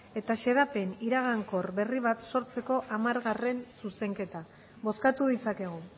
eta xedapen iragankor berri bat sortzeko hamargarrena zuzenketa bozkatu ditzakegu